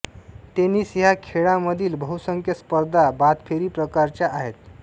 tennis ह्या खेळामधील बहुसंख्य स्पर्धा बादफेरी प्रकाराच्या आहेत